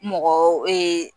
Mɔgɔw